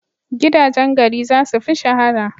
Gidajen gari za su fi shahara.